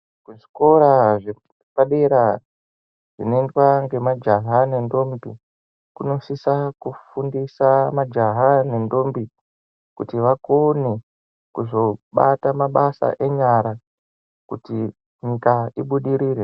Zvikora zvepadera zvinoindwa nemajaha nentombi kunosisa kufundisa majaha nentombi kuti vakone kuzobata mabasa enyara kuti nyika ibudirire.